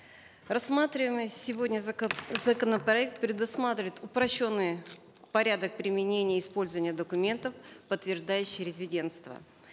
рассматриваемый сегодня законопроект предусматривает упрощенный порядок применения использования документов подтвеждающих резидентство